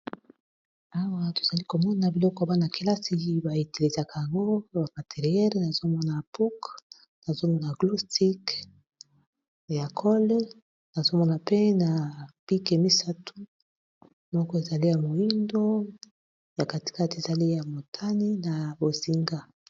Awa tozali komona biloko bana-kelasi bayetelizaka yango bamateriele nazomona apuk nazomona gloustic ya kole nazomona mpe na pike misatu moko ezali ya moindo ya katikati ezali ya motani na bosinga